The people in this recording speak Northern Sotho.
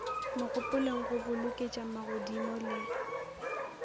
mogopolong go boloketša magodimo le